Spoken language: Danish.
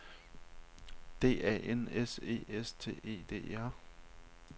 D A N S E S T E D E R